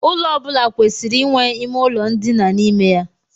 Ụlọ ọ bụla kwesịrị inwe ime ụlọ ndina n'ime ya.